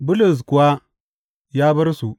Bulus kuwa ya bar su.